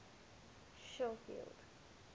schofield